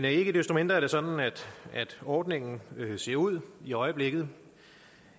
ikke desto mindre er det sådan ordningen ser ud i øjeblikket